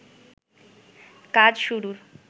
কাজ শুরুর